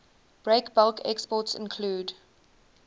breakbulk exports include